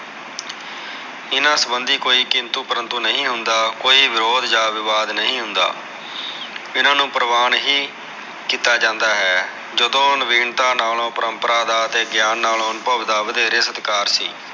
ਇਹਨਾ ਸਬਧੀ ਕੋਈ ਕਿੰਤੂ ਪਰੰਤੂ ਨਹੀ ਹੁੰਦਾ ਕੋਈ ਵਿਰੋਦ ਜਾ ਵਿਵਾਦ ਨਹੀ ਹੁੰਦਾ ਇਹਨਾ ਨੂ ਪਰਵਾਨ ਹੀ ਕੀਤਾ ਜਾਂਦਾ ਹੈ ਜਦੋ ਨਵੀਨਤਾ ਨਾਲੋ ਪਰੰਪਰਾ ਦਾ ਤੇ ਗਿਆਨ ਨਾਲੋ ਅਨੁਭਵ ਦਾ ਵਧੇਰੇ ਸਤਿਕਾਰ